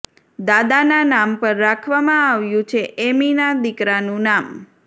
દાદાના નામ પર રાખવામાં આવ્યું છે એમીના દીકરાનું નામ